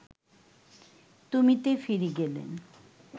তুমিতে ফিরে গেলেন